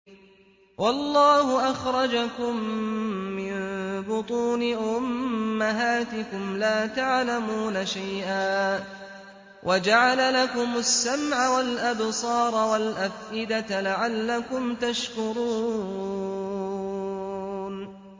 وَاللَّهُ أَخْرَجَكُم مِّن بُطُونِ أُمَّهَاتِكُمْ لَا تَعْلَمُونَ شَيْئًا وَجَعَلَ لَكُمُ السَّمْعَ وَالْأَبْصَارَ وَالْأَفْئِدَةَ ۙ لَعَلَّكُمْ تَشْكُرُونَ